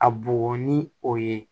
A bugɔ ni o ye